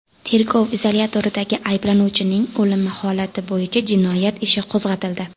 Tergov izolyatoridagi ayblanuvchining o‘limi holati bo‘yicha jinoyat ishi qo‘zg‘atildi.